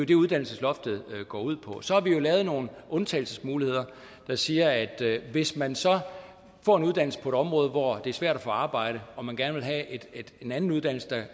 det uddannelsesloftet går ud på så har vi jo lavet nogle undtagelsesmuligheder der siger at hvis man så får en uddannelse på et område hvor det er svært at få arbejde og man gerne vil have en anden uddannelse